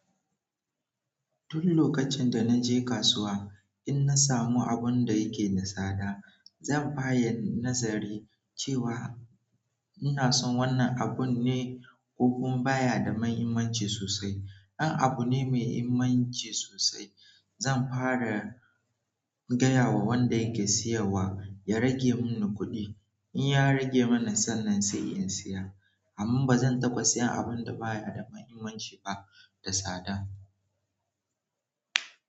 Duk lokacin da na je kasuwa, in na samu abun da yake da tsada, zan fara nazari cewa ina son wannan abunne ko kun baya da mahimmanci sosai. In abu ne mai muhimmanci sosai, zan fara gaya wa wanda yake siyowa ya rage mun kuɗi. In ya rage mana sannan sai in siya, amma ba zan taɓa siyan abun da baya da mahimmanci ba da tsada.